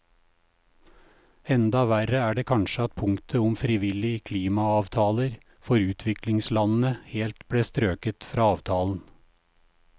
Enda verre er det kanskje at punktet om frivillige klimaavtaler for utviklingslandene helt ble strøket fra avtalen.